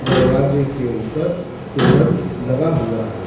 दरवाजे के ऊपर तोरन लगा हुआ है।